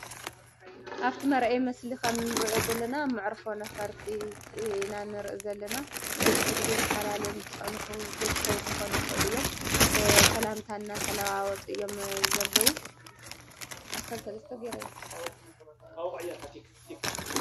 ኣፍቲ መርኣይ ምስሊ ከምንርእዮ ዘለና መዕርፎ ነፈርቲ ኢና ንርኢ ዘለና ንቡዙሕ ግዜ ተፋላለዮም ዝፀንሑ ቤተሰብ ክኮኑ ይከእሉ እዮም፡፡ ሰላመታ እናተለዋወጡ እዮም ዘለዉ።